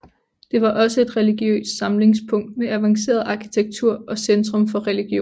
Det var også et religiøst samlingspunkt med avanceret arkitektur og centrum for religion